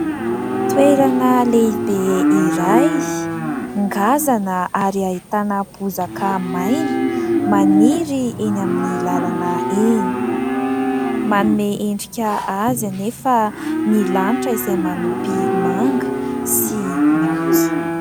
Toerana lehibe iray ngazana ary ahitana bozaka maina maniry eny amin'ny lalana eny, manome endrika azy anefa ny lanitra izay manopy manga sy maitso.